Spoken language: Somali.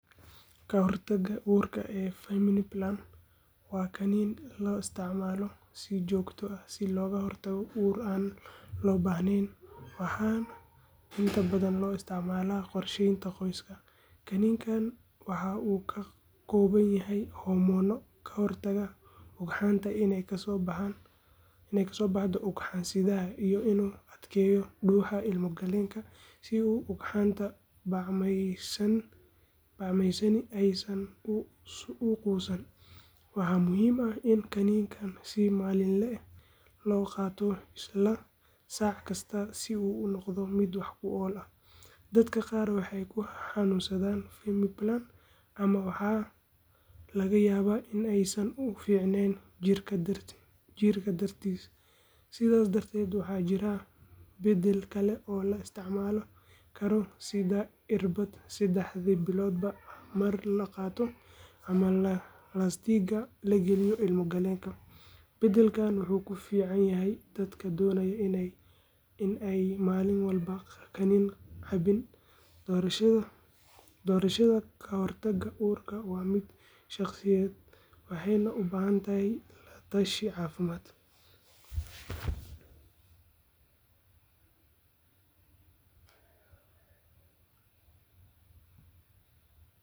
Ka hortagga uurka ee femiplan waa kaniini la isticmaalo si joogto ah si looga hortago uur aan loo baahnayn waxaana inta badan loo isticmaalaa qorsheynta qoyska. Kaniinigan waxa uu ka kooban yahay hormoono ka hortaga ugxanta iney ka soo baxdo ugxan-sidaha iyo inuu adkeeyo dhuuxa ilmo-galeenka si ugxanta bacmaysani aysan u quusan. Waxaa muhiim ah in kaniinigan si maalinle ah loo qaato isla saac kasta si uu u noqdo mid wax ku ool ah. Dadka qaar waxay ku xanuunsadaan femiplan ama waxaa laga yaabaa in aysan u fiicnayn jirka dartiis, sidaas darteed waxaa jirta beddel kale oo la isticmaali karo sida irbadda saddexdii biloodba mar la qaato ama laastikada la geliyo ilmo-galeenka. Beddelkan wuxuu ku fiican yahay dadka doonaya in aanay maalin walba kaniini cabbin. Doorashada ka hortagga uurka waa mid shaqsiyadeed waxayna u baahan tahay la tashi caafimaad.